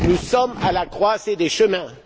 nous sommes à la croisée des chemins.